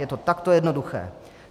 Je to takto jednoduché.